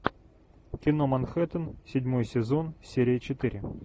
кино манхэттен седьмой сезон серия четыре